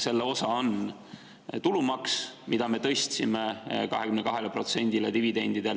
Selle osa on tulumaks dividendidelt, mille me tõstsime 22%‑le,